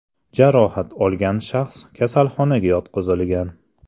Jarohat olgan shaxs kasalxonaga yotqizilgan.